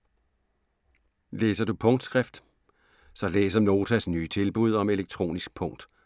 Læser du punktskrift - så læs om Notas nye tilbud om elektronisk punkt